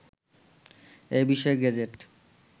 এ বিষয়ে গেজেট